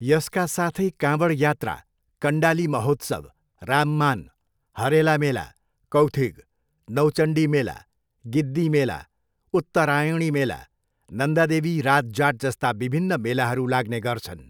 यसका साथै काँवड यात्रा, कन्डाली महोत्सव, राममान, हरेला मेला, कौथिग, नौचण्डी मेला, गिद्दी मेला, उत्तरायणी मेला, नन्दादेवी राज जाट जस्ता विभिन्न मेलाहरू लाग्ने गर्छन्।